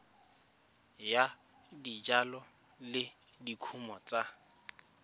ya dijalo le dikumo tsa